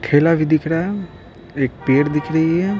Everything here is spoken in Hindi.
ठेला भी दिख रहा है एक पेड़ दिख रही है।